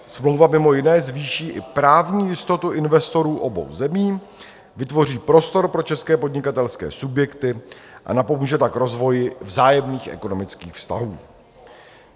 Smlouva mimo jiné zvýší i právní jistotu investorů obou zemí, vytvoří prostor pro české podnikatelské subjekty a napomůže tak rozvoji vzájemných ekonomických vztahů.